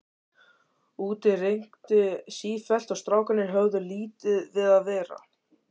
Úti rigndi sífellt og strákarnir höfðu lítið við að vera.